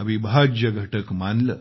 अविभाज्य घटक मानलं